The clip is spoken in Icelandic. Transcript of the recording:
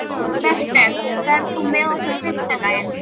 Bertel, ferð þú með okkur á fimmtudaginn?